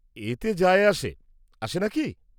-এতে যায় আসে, আসে না কি?